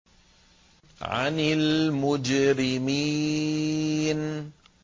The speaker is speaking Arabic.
عَنِ الْمُجْرِمِينَ